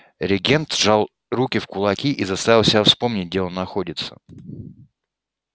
регент сжал руки в кулаки и заставил себя вспомнить где он находится